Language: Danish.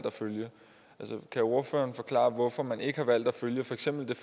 at følge kan ordføreren forklare hvorfor man ikke har valgt at følge for eksempel